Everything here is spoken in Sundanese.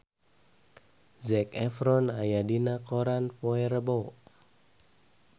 Zac Efron aya dina koran poe Rebo